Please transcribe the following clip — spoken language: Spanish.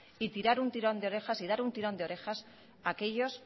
y tirar un tirón de orejas y dar un tirón de orejas a aquellos